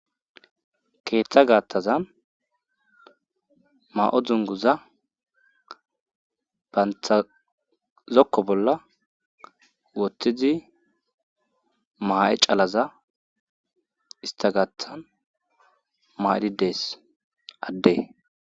keeththa gaattazan ma'o dzunguza bantha zokko bolla wotthidi maa'e calaza ista gathan maaidhi dees addes